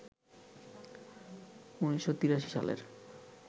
১৯৮৩ সালের